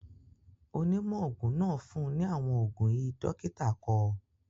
Onímọ̀ òògùn náà fun ní àwọn òògùn í dọ́kítà kọ.